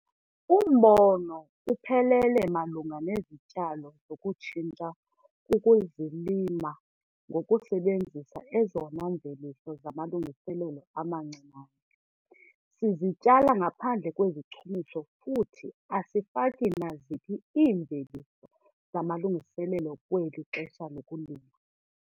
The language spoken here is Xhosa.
Umbono uphelele malunga nezityalo zokutshintsha kukuzilima ngokusebenzisa ezona mveliso zamalungiselelo amancinane. Sizityala ngaphandle kwezichumiso futhi asifaki naziphi iimveliso zamalungiselelo kweli xesha lokulima.